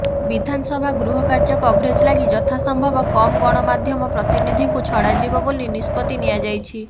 ବିଧାନସଭା ଗୃହ କାର୍ଯ୍ୟ କଭରେଜ୍ ଲାଗି ଯଥା ସମ୍ଭବ କମ୍ ଗଣମାଧ୍ୟମ ପ୍ରତିନିଧିଙ୍କୁ ଛଡ଼ାଯିବ ବୋଲି ନିଷ୍ପତ୍ତି ନିଆଯାଇଛି